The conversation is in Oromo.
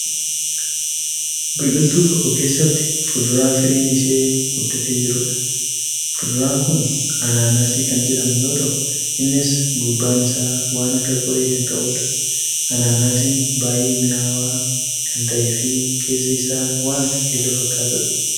Biqiltuu tokko keessatti fuuduraa firiin ishee guddatee jirudha. Fuuduraan kun anaanaasii kan jedhamu yoo ta'u innis gubbaan isaa waan akka qoree kan qabudha. Anaanaasiin baay'ee mi'aawaa kan ta'eefi keessi isaa waan akka keelloo fakkatudha.